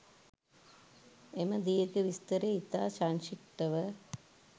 එම දීර්ඝ විස්තරය ඉතා සංක්‍ෂිප්තව